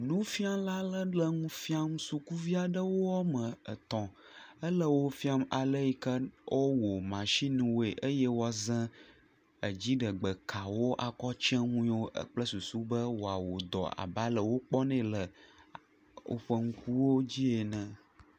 Nufiala le le nu fiam sukuvi aɖewo woame etɔ̃ hele wofiam ale si woawɔ mashiniwoe eye woaza dziɖegbekawo be woawɔ dɔ abe ale si wokpɔnɛ le woƒe ŋkuwo dzi ene.